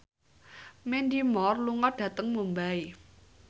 Mandy Moore lunga dhateng Mumbai